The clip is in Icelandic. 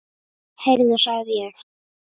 Heyrðu sagði ég.